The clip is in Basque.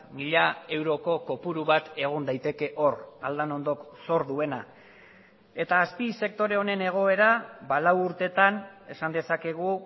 mila euroko kopuru bat egon daiteke hor aldanondok zor duena eta azpisektore honen egoera lau urteetan esan dezakegu